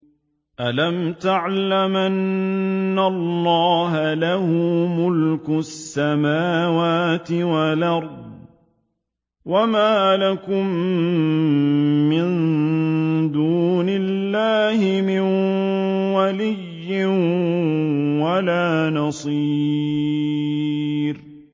أَلَمْ تَعْلَمْ أَنَّ اللَّهَ لَهُ مُلْكُ السَّمَاوَاتِ وَالْأَرْضِ ۗ وَمَا لَكُم مِّن دُونِ اللَّهِ مِن وَلِيٍّ وَلَا نَصِيرٍ